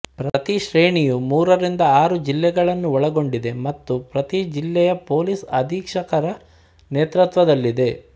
ಪ್ರತಿ ಶ್ರೇಣಿಯು ಮೂರರಿಂದ ಆರು ಜಿಲ್ಲೆಗಳನ್ನು ಒಳಗೊಂಡಿದೆ ಮತ್ತು ಪ್ರತಿ ಜಿಲ್ಲೆಯ ಪೊಲೀಸ್ ಅಧೀಕ್ಷಕರ ನೇತೃತ್ವದಲ್ಲಿದೆ